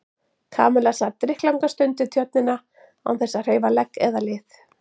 Kamilla sat drykklanga stund við Tjörnina án þess að hreyfa legg eða lið.